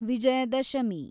Vijayadashami